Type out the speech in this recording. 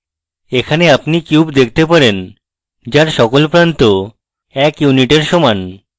এখানে আপনি cube দেখতে পারেন যার সকল প্রান্ত এক unit সমান